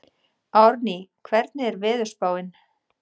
Árný, hvernig er veðurspáin?